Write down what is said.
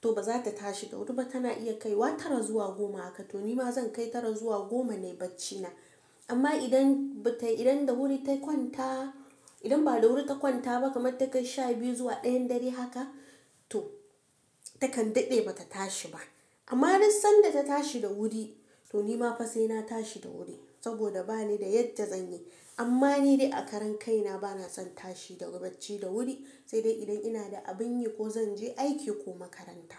to ba za ta tashi da wuri ba tana iya kai wata tara zuwa goma haka. To ni ma zan kai tara zuwa goma nayi bacci na. Amma idan bata idan da wuri ta kwanta ba kamar ta kai sha biyu zuwa ɗayan dare haka, to takan daɗe ba ta tashi ba. Amma duk sanda ta tashi da wuri, to ni ma fa sai na tashi da wuri. Saboda bani da yadda zan yi. Amma ni dai a karen kai na bana son tashi daga bacci da wuri. Sai dai idan ina da abin yi ko zan je aiki ko makaranta.